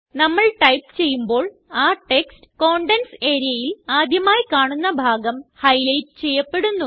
നമ്മൾ ടൈപ്പ് ചെയ്യുമ്പോൾ ആ ടെക്സ്റ്റ് കണ്ടെന്റ്സ് areaയിൽ ആദ്യമായി കാണുന്ന ഭാഗം ഹൈലൈറ്റ് ചെയ്യപ്പെടുന്നു